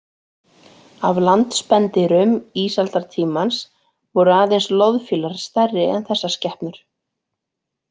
Af landspendýrum ísaldartímans voru aðeins loðfílar stærri en þessar skepnur.